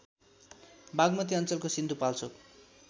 बागमती अञ्चलको सिन्धुपाल्चोक